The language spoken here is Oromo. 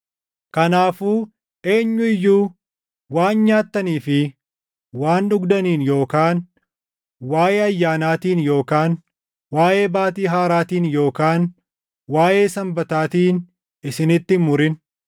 Kanaafuu eenyu iyyuu waan nyaattanii fi waan dhugdaniin yookaan waaʼee ayyaanaatiin yookaan waaʼee Baatii Haaraatiin yookaan waaʼee Sanbataatiin isinitti hin murin.